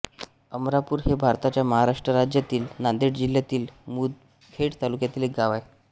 अमरापूर हे भारताच्या महाराष्ट्र राज्यातील नांदेड जिल्ह्यातील मुदखेड तालुक्यातील एक गाव आहे